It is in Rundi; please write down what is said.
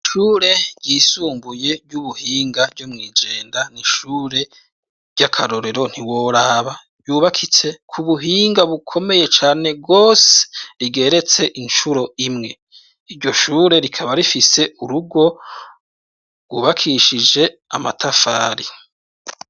ishure ryisumbuye ry'ubuhinga ryo mw'igenda n'ishure ry'akarorero ntiworaba yubakitse ku buhinga bukomeye cane gose rigeretse incuro imwe iryo shure rikaba rifise urugo rwubakishije amatafari